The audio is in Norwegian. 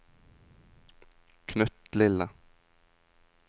knøttlille